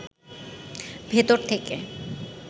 ভেতর থেকে